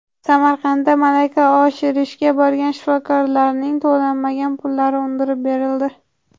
Samarqandda malaka oshirishga borgan shifokorlarning to‘lanmagan pullari undirib berildi.